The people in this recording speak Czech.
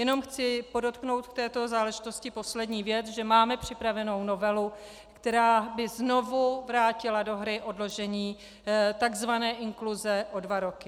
Jenom chci podotknout v této záležitosti poslední věc, že máme připravenou novelu, která by znovu vrátila do hry odložení takzvané inkluze o dva roky.